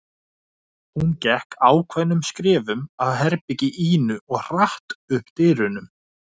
Hún gekk ákveðnum skrefum að herbergi Ínu og hratt upp dyrunum.